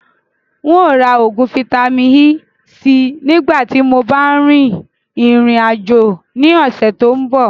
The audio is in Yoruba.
Ǹ ó ra oògùn Vitamin-E síí nìgbà tíì mo bá rìn ìrìn àjò ni ọ̀sẹ̀ tòun bọ̀